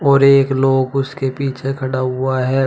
और एक लोग उसके पीछे खड़ा हुआ है।